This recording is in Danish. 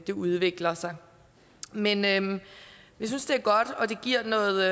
det udvikler sig men men vi synes det er godt og det giver noget